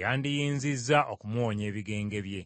yandiyinzizza okumuwonya ebigenge bye.”